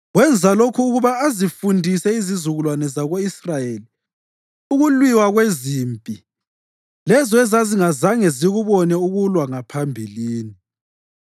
(wenza lokhu ukuba azifundise izizukulwane zako-Israyeli ukulwiwa kwezimpi lezo ezazingazange zikubone ukulwa ngaphambilini):